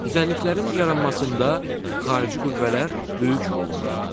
Düzənliklərin yaranmasında xarici qüvvələr böyük rol oynayır.